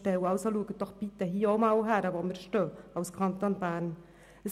Also schauen Sie doch hier bitte auch einmal hin, wo der Kanton Bern steht.